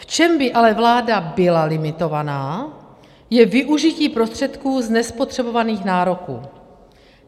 V čem by ale vláda byla limitovaná, je využití prostředků z nespotřebovaných nároků.